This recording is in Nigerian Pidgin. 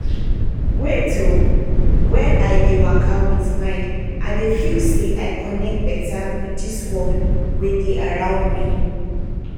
wait oh when i dey waka with mind i dey feel say i connect better with dis world wey dey around me